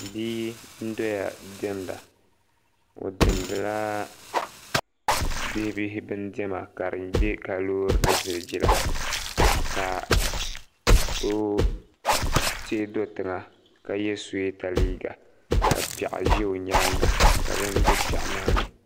bia n doya diɛmda o diɛmdila bibihi bin diɛma ka di bɛ ka loori ni ziliji la ka o teei do tiŋa ka yɛ suyeeda liiga ka piɛɣu ʒi o nyaanga ka bini bɛ piɛɣu maa ni